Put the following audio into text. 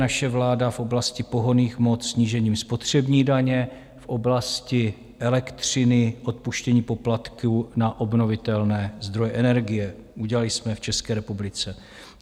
Naše vláda v oblasti pohonných hmot snížením spotřební daně, v oblasti elektřiny odpuštění poplatku na obnovitelné zdroje energie, udělali jsme v České republice.